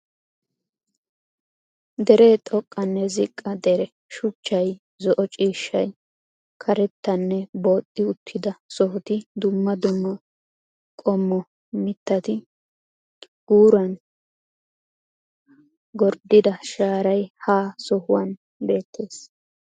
Deree xoqqanne ziqqa deree, shuchchay, zo"o ciishshay, karettanne booxxi uttida sohoti dumma dumma qommo mitati, guuran gorddida shaaray ha sohuwan beettees.